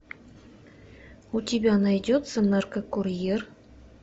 у тебя найдется наркокурьер